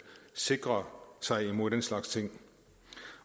sikre sig imod den slags ting